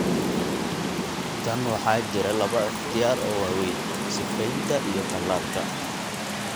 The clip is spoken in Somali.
Tan waxaa jira laba ikhtiyaar oo waaweyn: sifeynta iyo tallaalka.